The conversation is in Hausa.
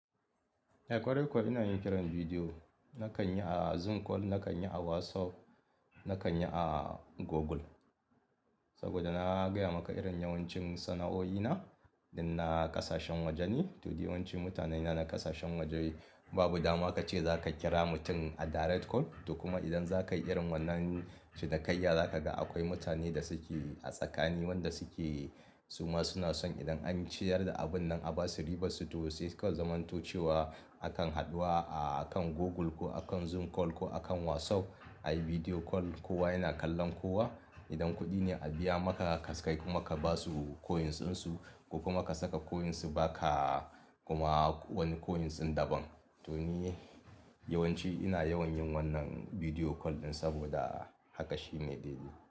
Eh kwarai kuwa ina yin kiran bidiyo. Nakan yi a Zoom call, nakan yi a WhatsApp, nakan yi a Google. Saboda na gaya maka irin yawancin sana'o'ina inda na ƙasashen waje ne. To, duk yawanci mutanena na ƙasashen waje babu dama kace za ka kira mutum a direct call. To kuma idan za ka yi irin wannan ci dakai zaka ga akwai mutane da suke a tsakani wanda suke suma suna son idan an siyar da abun nan a ba su ribarsu to sai suka zamanto cewa akan haɗuwa a kan Google ko akan Zoom call ko akan WhatsApp. Ayi bidiyo call kowa yana kallon kowa. Idan kuɗi ne a biya maka kaska kuma ka ba su coinsinsu ko kuma ka saka coinsu ba ka kuma wani coinsin daban. To ni yawanci ina yawan yin wannan bidiyo call ɗin saboda haka shi ne daidai.